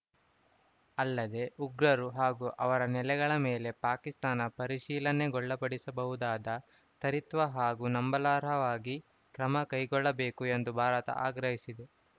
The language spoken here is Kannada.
ಅಲ್ಲದೆ ಉಗ್ರರು ಹಾಗೂ ಅವರ ನೆಲೆಗಳ ಮೇಲೆ ಪಾಕಿಸ್ತಾನ ಪರಿಶೀಲನೆಗೊಳ್ಳಪಡಿಸಬಹುದಾದ ತ್ವರಿತ ಹಾಗೂ ನಂಬಲಾರ್ಹವಾಗಿ ಕ್ರಮ ಕೈಗೊಳ್ಳಬೇಕು ಎಂದು ಭಾರತ ಆಗ್ರಹಿಸಿದೆ